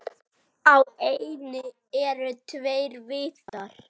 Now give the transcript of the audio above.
Á eynni eru tveir vitar.